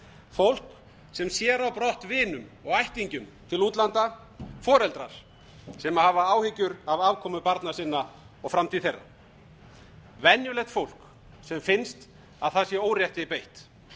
fólk sem sér á brott vinum og ættingjum til útlanda foreldrar sem hafa áhyggjur af afkomu barna sinna og framtíð þeirra venjulegt fólk sem finnst að það sé órétti beitt